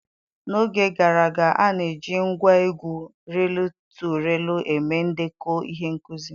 N'oge gara aga, a na-eji ngwa egwu riil to riil eme ndekọ ihe nkuzi